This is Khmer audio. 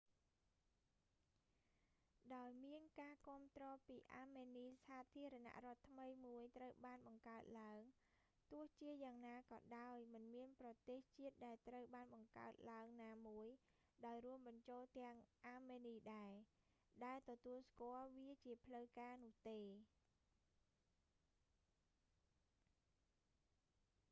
ដោយមានការគាំទ្រពីអាមេនី សាធារណរដ្ឋថ្មីមួយត្រូវបានបង្កើតឡើង ទោះជាយ៉ាងណាក៏ដោយ មិនមានប្រទេសជាតិដែលត្រូវបានបង្កើតឡើងណាមួយ ដោយរួមបញ្ចូលទាំងអាមេនីដែរ ដែលទទួលស្គាល់វាជាផ្លូវការនោះទេ